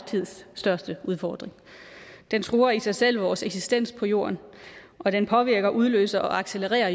tids største udfordring den truer i sig selv vores eksistens på jorden og den påvirker udløser og accelererer